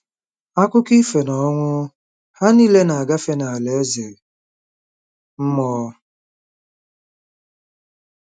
Akụkọ ifo: N'ọnwụ, ha niile na-agafe n'alaeze mmụọ